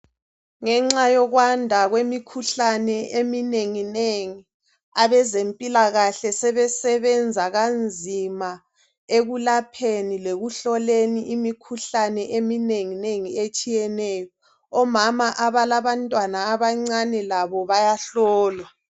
Ngenxa yokwanda kwemikhuhlane eminengi nengi abezempilakahle sebesebenza kanzima ekulapheni lekuhloleni imikhuhlane eminengi nengi etshiyeneyo omama abalabantwana abancane labo bayahlolwa.